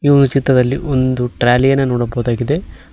ಈ ಒಂದು ಚಿತ್ರದಲ್ಲಿ ಒಂದು ಟ್ರಾಲಿ ಅನ್ನ ನೋಡಬಹುದಾಗಿದೆ.